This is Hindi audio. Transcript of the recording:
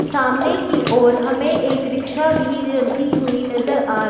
सामने की ओर हमे एक रिक्शा भी रेलती हुई नजर आ र--